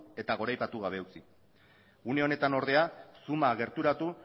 eta goraipatu gabe utzi une honetan ordea zooma gerturatu